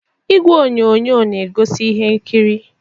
Igwe onyonyo na egosi ihe nkiri.